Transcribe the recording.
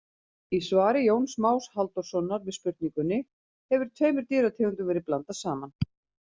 Í svari Jóns Más Halldórssonar við spurningunni Hefur tveimur dýrategundum verið blandað saman?